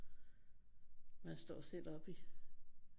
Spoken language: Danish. Man står selv oppe i